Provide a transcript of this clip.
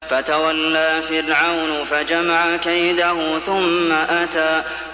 فَتَوَلَّىٰ فِرْعَوْنُ فَجَمَعَ كَيْدَهُ ثُمَّ أَتَىٰ